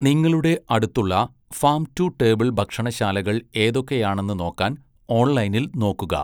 നിങ്ങളുടെ അടുത്തുള്ള farm to table ഭക്ഷണശാലകൾ ഏതൊക്കെയാണെന്ന് നോക്കാൻ ഓൺലൈനിൽ നോക്കുക.